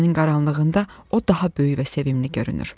Gecənin qaranlığında o daha böyük və sevimli görünür.